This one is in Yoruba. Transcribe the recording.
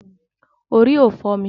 Orí ò fọ́ mi.